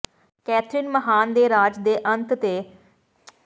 Catherine ਮਹਾਨ ਦੇ ਰਾਜ ਦੇ ਅੰਤ ਦੇ ਜ਼ਿਆਦਾਤਰ ਬਿਖਰ ਗਈ